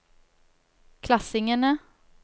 klassingene